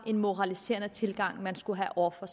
en moraliserende tilgang man skulle have over for